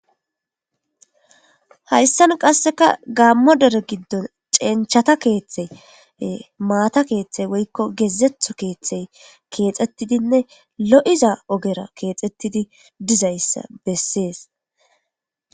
hayssan qasseka gammo dere giddon cenchata keeththey maata keeththey woykko gezetho keeththey keexxettidinne lo7iza ogera keexxettidi dizayssa bessees